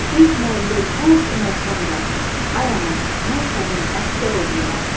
Oxuyub müəllim, hər kim olsam da, ay ana, mən sənin əsgər oğlunam.